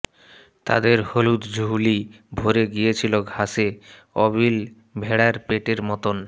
তাদের হলুদ ঝুলি ভরে গিয়েছিল ঘাসে আবিল ভেড়ার পেটের মতন